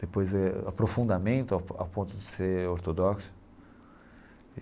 Depois é aprofundamento a po a ponto de ser ortodoxo.